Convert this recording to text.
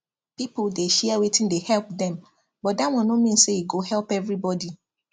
people dey share wetin dey help dem but that one no mean say e go help everybody